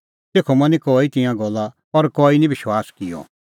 तेखअ मनी कई तिंयां गल्ला और कई निं विश्वास किअ